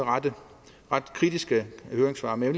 kritiske høringssvar men